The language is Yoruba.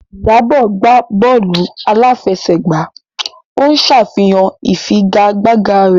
Iyabo gbá bọ́ọ̀lù aláfẹsẹ̀gbá, ó ń ṣàfihàn ìfigagbága rẹ̀.